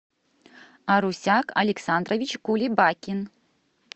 арусяк александрович кулебакин